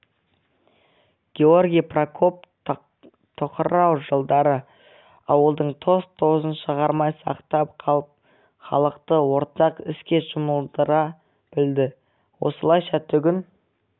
георгий прокоп тоқырау жылдары ауылдың тоз-тозын шығармай сақтап қалып халықты ортақ іске жұмылдыра білді осылайша түгін